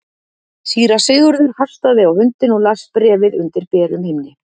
Síra Sigurður hastaði á hundinn og las bréfið undir berum himni.